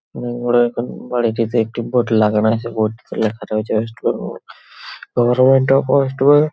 হুম বড় এখন বাড়িটিতে একটি বোর্ড লাগানো আছে বোর্ড -টিতে লেখা রয়েছে ওয়েস্ট বেঙ্গল গভর্নমেন্ট অফ ওয়েস্ট বে--